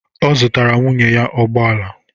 Ọ zụtara nwunye ya ụgbọ ala.